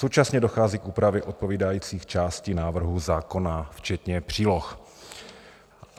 Současně dochází k úpravě odpovídajících částí návrhu zákona včetně příloh.